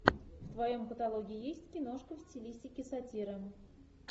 в твоем каталоге есть киношка в стилистике сатира